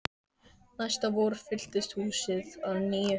Næsta vor fyllist húsið að nýju.